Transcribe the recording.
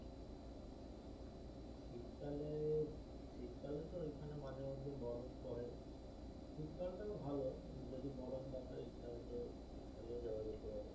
শীতকালে শীতকালে তো ওখানে মাঝে মধ্যে বরফ পরে, শীতকাল টা ও ভালো যদি বরফ দেখার ইচ্ছা থাকে শীতকালে ও যাওয়া যেতে পারে।